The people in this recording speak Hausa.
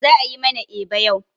Za'a yi mana eba yau.